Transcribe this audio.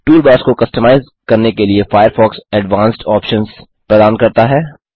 toolbars को customise करने के लिए फ़ायरफ़ॉक्स एडवांस्ड ऑप्शन्स प्रदान करता है